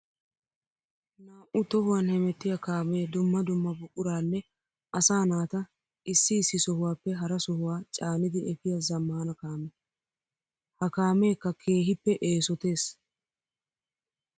Naa'u tohuwan hemettiya kaame dumma dumma buquranne asaa naata issi issi sohuwappe hara sohuwa caanidi efiya zamaana kaame. Ha kaamekka keehippe eesotees.